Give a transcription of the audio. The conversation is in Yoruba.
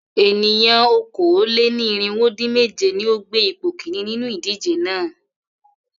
Ènìyàn okòó-lé-ní-irínwó-dín-mèje ni ó gbé ipò kìíní nínú ìdíje náà.